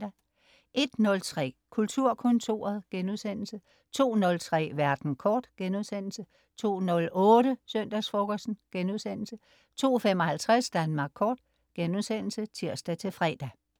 01.03 Kulturkontoret* 02.03 Verden kort* 02.08 Søndagsfrokosten* 02.55 Danmark Kort* (tirs-fre)